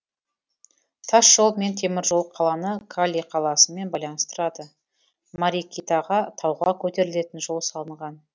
тасжол мен теміржол қаланы кали қаласымен байланыстырады марикитаға тауға көтерілетін жол салынған